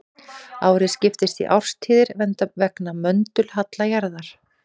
Árið skiptist í árstíðir vegna möndulhalla jarðar.